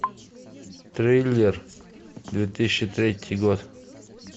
триллер две тысячи третий год